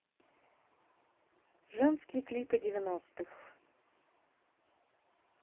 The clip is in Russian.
женские клипы девяностых